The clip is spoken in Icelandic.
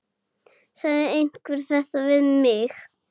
Sagði einhver þetta við mig?